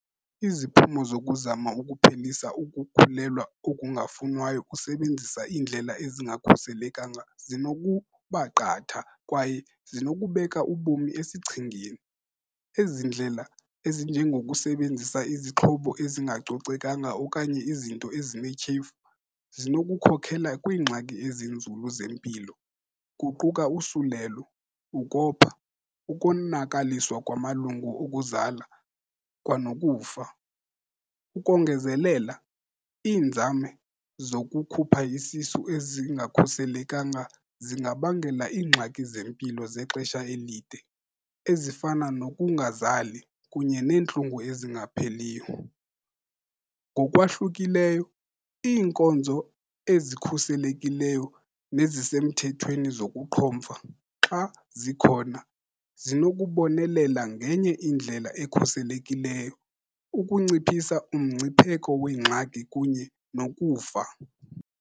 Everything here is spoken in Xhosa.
Iziphumo zokuzama ukuphelisa ukukhulelwa okungafunwayo usebenzisa indlela ezingakhuselekanga zinokuba qatha kwaye zinokubeka ubomi esichengeni. Ezi ndlela ezinjengokusebenzisa izixhobo ezingacocekanga okanye izinto ezinetyhefu zinokukhokhela kwiingxaki ezinzulu zempilo, kuquka usulelo, ukopha, ukonakaliswa kwamalungu okuzala kwanokufa. Ukongezelela, iinzame zokukhupha isisu, ezingakhuselekanga zingabangela iingxaki zempilo zexesha elide, ezifana nokungazali kunye neentlungu ezingapheliyo. Ngokwahlukileyo, iinkonzo ezikhuselekileyo nezisemthethweni zokuqhomfa, xa zikhona, zinokubonelela ngenye indlela ekhuselekileyo, ukunciphisa umngcipheko weengxaki kunye nokufa.